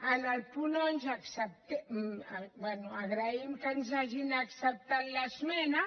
en el punt onze bé agraïm que ens hagin acceptat l’esmena